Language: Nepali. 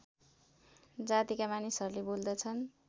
जातिका मानिसहरूले बोल्दछन्